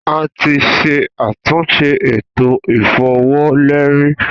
A ti ṣe atunṣe eto ifowoleri.